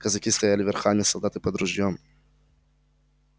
казаки стояли верхами солдаты под ружьём